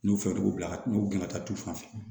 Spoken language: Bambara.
N'u fɛɛrɛ t'u la n'u gɛn ka taa tufan fɛ